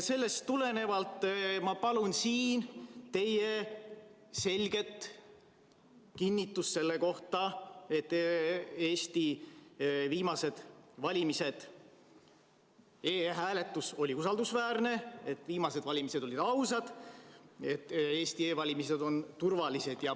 Sellest tulenevalt ma palun siin teie selget kinnitust selle kohta, et Eesti viimased valimised olid ausad, et e-hääletus oli usaldusväärne, et Eesti e-valimised on turvalised.